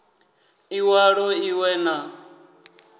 i walo i we na